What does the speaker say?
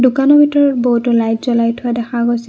দোকানৰ ভিতৰত বহুতো লাইট জ্বলাই থোৱা দেখা গৈছে।